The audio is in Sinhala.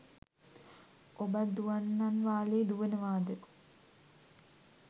ඔබත් දුවන්නන් වාලේ දුවනවාද